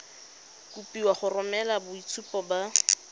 kopiwa go romela boitshupo ba